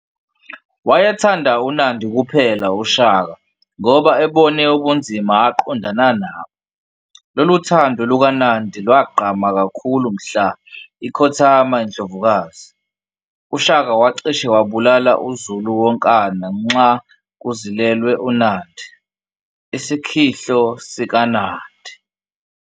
Waye thanda uNandi kuphela uShaka ngoba ebone ubunzima aqondana nabo, lolu thando lukaNandi lwagqama kakhulu mhla ikhothama indlovukazi, uShaka wacishe wabulala uZulu wonkana nxa kuzilelwe uNandi, Isikhihlo sikaNandi.